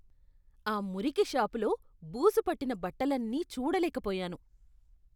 ఆ మురికి షాపులో బూజు పట్టిన బట్టలన్నీ చూడలేకపోయాను.